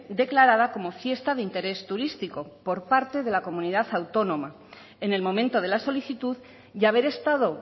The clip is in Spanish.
declarada como fiesta de interés turístico por parte de la comunidad autónoma en el momento de la solicitud y haber estado